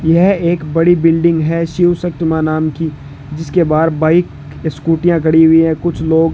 यह एक बड़ी बिल्डिंग है शिव शक्ति मां नाम की जिसके बाहर बाइक स्कूटियां खड़ी हुई हैं कुछ लोग --